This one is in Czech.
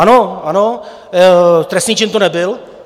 Ano, ano, trestný čin to nebyl.